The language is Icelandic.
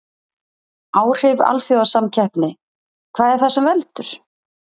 Áhrif alþjóðasamkeppni Hvað er það sem veldur?